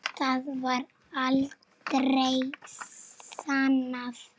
Það var aldrei sannað.